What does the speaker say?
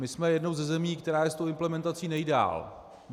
My jsme jednou ze zemí, která je s tou implementací nejdál.